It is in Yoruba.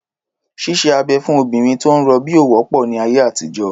Ṣíṣe abẹ̀ fún obìnrin tó ń rọbí ò wọ́pọ̀ ní ayé àtijọ́.